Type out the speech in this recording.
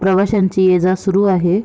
प्रवाशांची ये जा सुरू आहे.